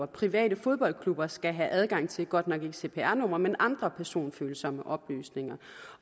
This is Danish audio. private fodboldklubber skal have adgang til godt nok ikke cpr nummer men andre personfølsomme oplysninger